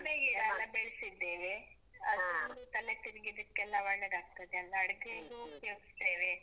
ಲಿಂಬೆ ಗಿಡ ಎಲ್ಲ ಬೆಳೆಸಿದ್ದೇವೆ. ಅದು ತಲೆ ತಿರಿಗಿದಕ್ಕೆಲ್ಲ ಒಳ್ಳೇದಾಗ್ತದೆ ಅಲ್ಲ. ಅಡ್ಗೆಗು ಉಪಯೋಗಿಸ್ತೇವೆ.